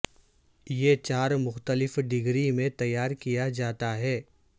یہ چار مختلف ڈگری میں تیار کیا جاتا ہے